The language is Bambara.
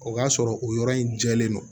O b'a sɔrɔ o yɔrɔ in jɛlen don